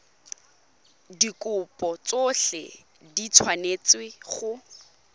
dikopo tsotlhe di tshwanetse go